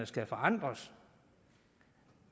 skal forandres